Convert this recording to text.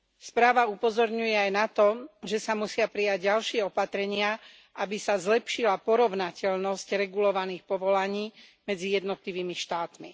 Správa upozorňuje aj na to, že sa musia prijať ďalšie opatrenia, aby sa zlepšila porovnateľnosť regulovaných povolaní medzi jednotlivými štátmi.